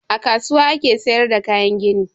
A kasuwa ake sayar da kayan gini.